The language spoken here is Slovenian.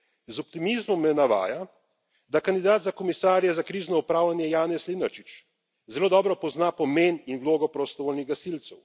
Z optimizmom me navdaja, da kandidat za komisarja za krizno upravljanje Janez Lenarčič zelo dobro pozna pomen in vlogo prostovoljnih gasilcev.